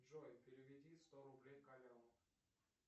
джой переведи сто рублей коляну